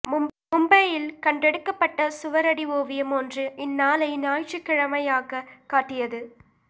பொம்பெயியில் கண்டெடுக்கப்பட்ட சுவரடி ஓவியம் ஒன்று இந்நாளை ஞாயிற்றுக்கிழமையாகக் காட்டியது